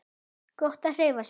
Gott að hreyfa sig.